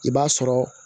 I b'a sɔrɔ